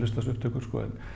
þessar upptökur sko en